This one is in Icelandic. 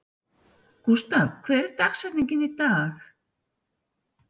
Gústav, hver er dagsetningin í dag?